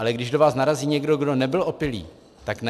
Ale když do vás narazí někdo, kdo nebyl opilý, tak ne?